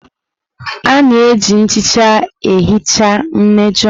A na-eji nchicha ihicha mmejọ.